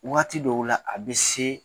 Wagati dɔw la a bɛ se